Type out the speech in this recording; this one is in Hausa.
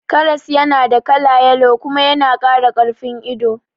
Karas yana da kala yalo kuma yana kara karfin ido